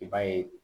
I b'a ye